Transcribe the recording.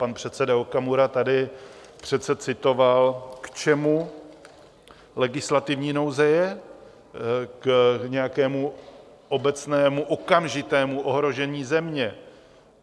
Pan předseda Okamura tady přece citoval, k čemu legislativní nouze je: k nějakému obecnému okamžitému ohrožení země.